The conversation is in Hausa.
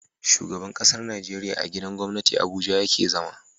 Shugaban ƙasar Nigeria a gidan gwamnati abuja yake zama